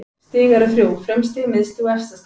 Stig eru þrjú: frumstig, miðstig og efstastig.